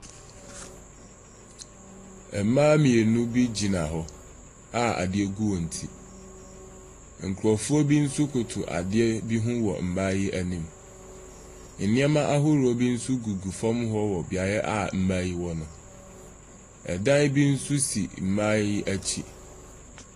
Mmaa mmienu bi gyina hɔ a adeɛ gu wɔn ti. Nkurofoɔ bi nso koto adeɛ bi ho wɔ mmaa yi anim. Nneɛma ahorow bi nso gugu fam hɔ wɔ beae a mmaa yi wɔ no. Ɛdan bi nso si mmaa yi akyi.